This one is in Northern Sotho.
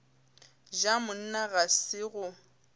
ja monna ga se go